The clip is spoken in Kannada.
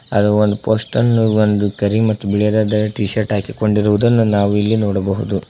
ಅದು ಒಂದು ಪೋಸ್ಟ ಅನ್ನು ಒಂದು ಕರಿ ಮತ್ತು ಬಿಳಿದಾದ ಟೀ ಶರ್ಟ್ ಹಾಕಿಕೊಂಡಿರುವುದು ನಾವು ಇಲ್ಲಿ ನೋಡಬಹುದು.